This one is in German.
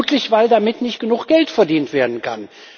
Vermutlich daran, dass damit nicht genug Geld verdient werden kann.